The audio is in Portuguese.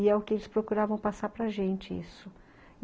E é o que eles procuravam passar para gente, isso.